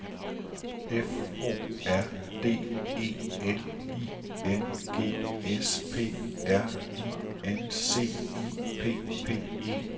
F O R D E L I N G S P R I N C I P P E T